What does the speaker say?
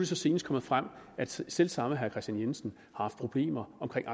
så senest kommet frem at selv selv samme herre kristian jensen haft problemer omkring